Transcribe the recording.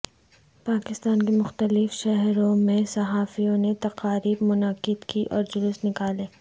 پاکستان کے مختلف شہروں میں صحافیوں نے تقاریب منعقد کیں اور جلوس نکالے